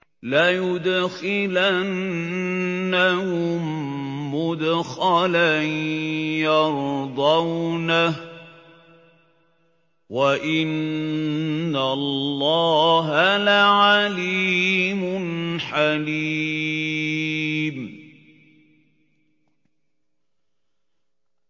لَيُدْخِلَنَّهُم مُّدْخَلًا يَرْضَوْنَهُ ۗ وَإِنَّ اللَّهَ لَعَلِيمٌ حَلِيمٌ